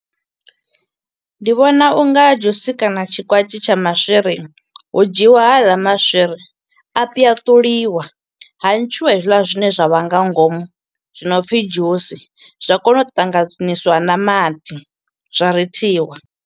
Ndi vhona unga dzhusi kana tshikwatshi tsha maswiri. Hu dzhiiwa haḽa maswiri, a pwaṱuliwa. Ha ntshiwa hezwiḽa zwine zwa vha nga ngomu, zwi no pfi dzhusi, zwa kona u ṱanganyiswa na maḓi, zwa rithiwa.